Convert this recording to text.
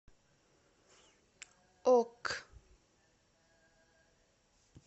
ок